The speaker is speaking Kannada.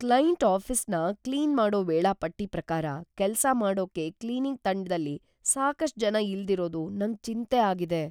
ಕ್ಲೈಂಟ್ ಆಫೀಸ್‌ನ ಕ್ಲೀನ್‌ ಮಾಡೋ ವೇಳಾಪಟ್ಟಿ ಪ್ರಕಾರ ಕೆಲ್ಸ ಮಾಡೋಕೆ ಕ್ಲೀನಿಂಗ್ ತಂಡ್ದಲ್ಲಿ ಸಾಕಷ್ಟ್‌ ಜನ ಇಲ್ದಿರೋದು ನಂಗ್ ಚಿಂತೆ ಆಗಿದೆ.